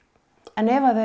en ef þau